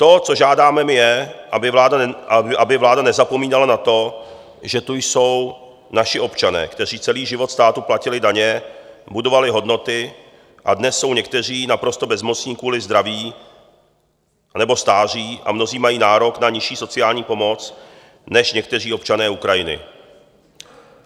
To, co žádáme, je, aby vláda nezapomínala na to, že jsou tu naši občané, kteří celý život státu platili daně, budovali hodnoty a dnes jsou někteří naprosto bezmocní kvůli zdraví nebo stáří a mnozí mají nárok na nižší sociální pomoc než někteří občané Ukrajiny.